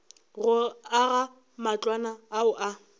go aga matlwana ao a